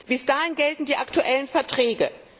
Bis dahin gelten die aktuellen Verträge.